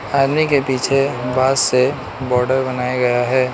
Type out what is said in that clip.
आदमी के पीछे बांस से बॉर्डर बनाया गया है।